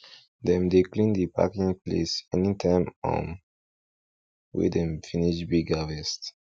dem dey clean the packing place anytime um wey dem finish big harvest